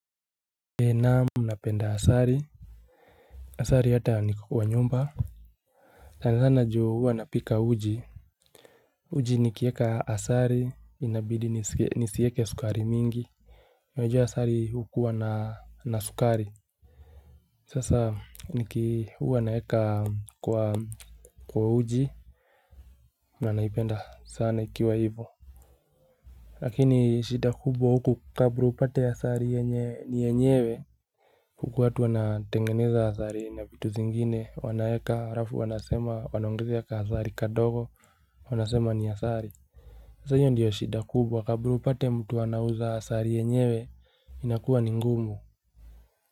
Naam napenda asali. Asali hata niko kwa nyumba. Sana sana ju huwa napika uji. Uji nikieka asali inabidi nisieke sukari mingi, unajua asali hukuwa na sukari. Sasa niki huwa naeka kwa uji na naipenda sana ikiwa hivo. Lakini shida kubwa huku kabla upate asali ni yenyewe. Huku watu wanatengeneza asali na vitu zingine, wanaweka, halafu wanasema, wanaongezea ka asali kadogo, wanasema ni asali. Sasa hiyo ndio shida kubwa kabla upate mtu anauza asali yenyewe inakuwa ni ngumu.